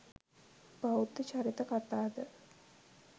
බෞද්ධ චරිත කතා ද